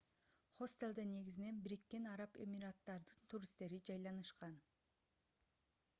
хостелде негизинен бириккен араб эмираттарынын туристтери жайланышкан